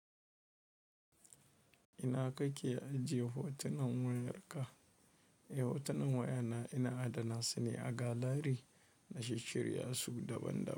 Ina kake ajiye hotunan wayarka? Eh, hotunan wayana ina adana su ne a galari na shishshirya su daban-daban.